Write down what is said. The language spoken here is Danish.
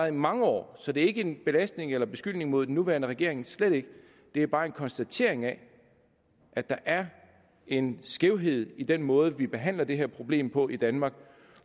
i mange år så det er ikke belastende for eller en beskyldning mod den nuværende regering slet ikke det er bare en konstatering af at der er en skævhed i den måde vi behandler det her problem på i danmark